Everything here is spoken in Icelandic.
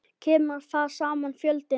Kemur þar saman fjöldi manna.